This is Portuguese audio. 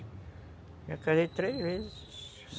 Já casei três vezes.